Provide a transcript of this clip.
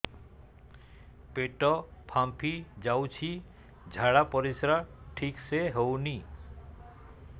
ପେଟ ଫାମ୍ପି ଯାଉଛି ଝାଡ଼ା ପରିସ୍ରା ଠିକ ସେ ହଉନି